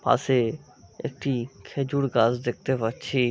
পাশে একটি খেজুর গাছ দেখতে পাচ্ছি।